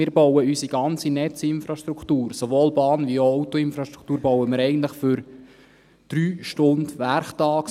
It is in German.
Wir bauen unsere ganze Netzinfrastruktur – sowohl Bahn- wie auch Autoinfrastruktur – eigentlich für drei Stunden werktags.